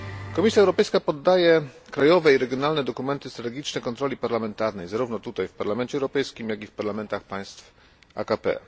Komisja Europejska poddaje krajowe i regionalne dokumenty strategiczne kontroli parlamentarnej, zarówno tutaj w Parlamencie Europejskim, jak i w parlamentach państw AKP.